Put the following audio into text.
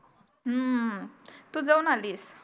अं तू जाऊन आलीस